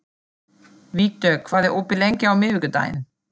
Vígdögg, hvað er opið lengi á miðvikudaginn?